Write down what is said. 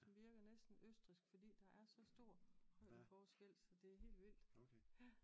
Som virker næsten Østrigsk fordi der er så stor højdeforskel så det er helt vildt